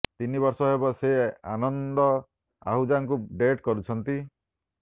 ତିନି ବର୍ଷ ହେବ ସେ ଆନନ୍ଦ ଆହୁଜାଙ୍କୁ ଡେଟ୍ କରୁଛନ୍ତି